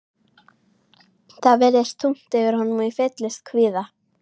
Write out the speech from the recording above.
Það virtist þungt yfir honum og ég fylltist kvíða.